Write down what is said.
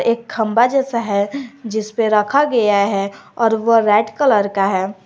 एक खंभा जैसा है जिसपे रखा गया है और वो रेड कलर का है।